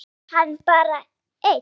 Fer hann bara einn?